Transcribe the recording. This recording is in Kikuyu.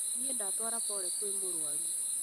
Nĩ ndatwara pore kwĩ mũrũaru